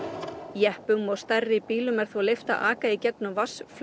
jeppum og stærri bílum er þó leyft að aka í gegnum